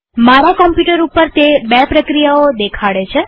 મારા કમ્પ્યુટર ઉપર તે બે પ્રક્રિયાઓ દેખાડે છે